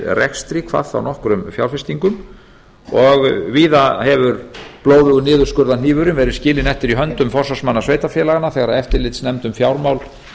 rekstri hvað þá nokkrum fjárfestingum og víða hefur blóðugur niðurskurðarhnífurinn verið skilinn eftir í höndum forsvarsmanna sveitarfélaganna þegar eftirlitsnefnd um fjármál